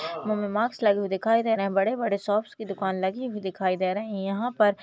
मुह पे मास्क लगे हुए दिखाई दे रहे है बड़े बड़े शॉप्स की दुकान लगी हुए दिखाई दे रही है यहाँ पर--